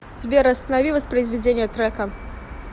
сбер останови воспроизведение трека